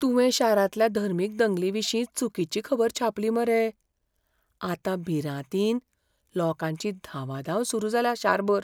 तुवें शारांतल्या धर्मीक दंगलीविशीं चुकिची खबर छापली मरे. आतां भिरांतीन लोकांची धांवाधांव सुरू जाल्या शारभर.